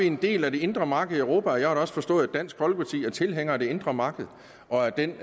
en del af det indre marked i europa jeg har da også forstået at dansk folkeparti er tilhænger af det indre marked og af den